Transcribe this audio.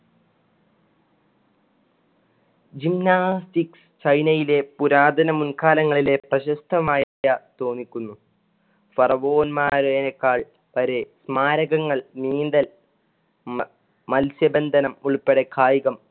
ചൈനയിലെ പുരാതന മുന്‍കാലങ്ങളിലെ പ്രശസ്തമായ തോന്നിക്കുന്നു. ഫറവോന്മാരെനേക്കാൾ സ്മാരകങ്ങൾ നീന്തൽ മല്‍~ മൽസ്യബന്ധനം ഉള്‍പ്പെടെ കായികം